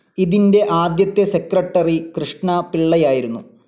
ഇതിൻ്റെ ആദ്യത്തെ സെക്രട്ടറി കൃഷ്ണപിള്ളയായിരുന്നു.